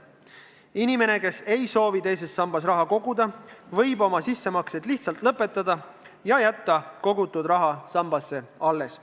Inimene, kes ei soovi enam teise sambasse raha koguda, võib sissemaksete tegemise lihtsalt lõpetada ja jätta kogutud raha sambasse alles.